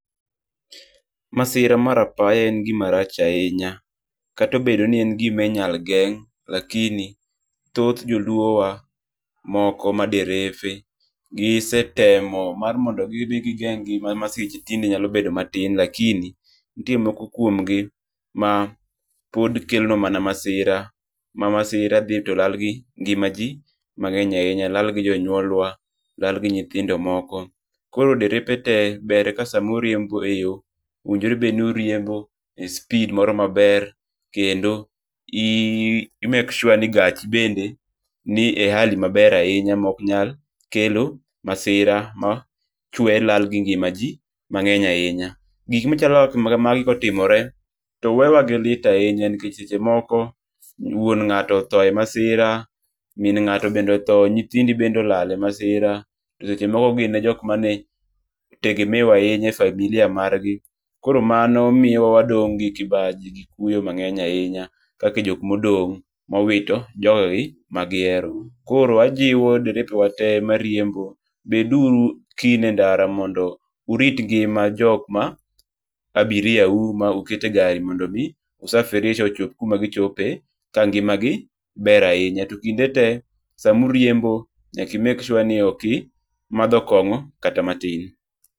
Masira mar apaya en gima rach ahinya. Kata obedo ni en gima inyalo geng',lakini thoth joluowa moko ma derefe gisetemo mar mondo gidhi gigeng' gima nyalo bedo matin lakini nitie moko kuomgi mapod kelo mana masira. Ma masira dhi to lal gi ngima ji mang'eny ahinya. Lal gi jonyuolwa, lal gi nyithindo moko. Koro derepe te ber ka sama oriembo e yo owinjore be noriembo e speed moro maber. Kendo i make sure ni gachi bende ni e [hali maber ahinya mok nyal kelo masira ma chuwe lal gi ngima ji mang'eny ahinya. Gik machalo kaka magi kotimore to wewa gi lit ahinya nikech seche moko wuon ng'ato otho e masira, min ng'ato be otho, nyithindi bende olal e masira. Seche moko gin e jok mane tegemeo ahinya e familia margi. Koro mano miya wadong' gi kibaji gi kuyo mang'eny ahinya kaka jok modong' mowito jogegi magihero. Koro ajiwo derepwa te mariembo. Bed uru kneen e ndara mondo urit ngima jok ma abiria u ma uketo e gari mondo omiu safirisha ochop kuma gichope ka ngima gi ber ahinya. To kinde te, sama uriembo nyaka i make sure ni ok imadho kong'o kata matin.